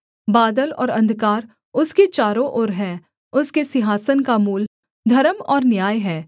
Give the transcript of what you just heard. बादल और अंधकार उसके चारों ओर हैं उसके सिंहासन का मूल धर्म और न्याय है